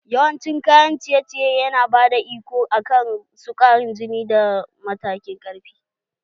Yawan cin kayan ciye ciye yana bada iko akan sukarin jini da matakin ƙarfi